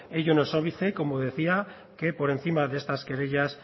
ello no es óbice como decía que por encima de estas querellas